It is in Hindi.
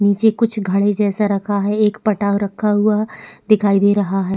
निचे कुछ घड़े जैसा रखा हैं एक पटाव रखा हुआ है दिखाई दे रहा है।